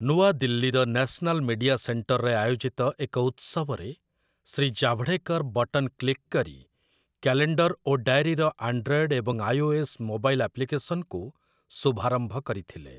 ନୂଆଦିଲ୍ଲୀର national media ସେଣ୍ଟରରେ ଆୟୋଜିତ ଏକ ଉତ୍ସବରେ ଶ୍ରୀ ଜାଭଡେକର୍ ବଟନ୍ କ୍ଲିକ୍ କରି କ୍ୟାଲେଣ୍ଡର ଓ ଡାଏରୀର ଆଣ୍ଡ୍ରଏଡ୍ ଏବଂ ଆଇଓଏସ୍ ମୋବାଇଲ୍ ଆପ୍ଲିକେସନକୁ ଶୁଭାରମ୍ଭ କରିଥିଲେ ।